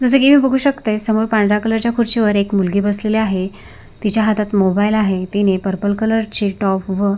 जस की मी बघू शकते समोर पांढऱ्या कलर च्या खुर्ची वर एक मुलगी बसलेली आहे तिच्या हातात मोबाइल आहे तिने पर्पल कलर ची टॉप व--